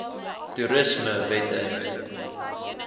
toerismewette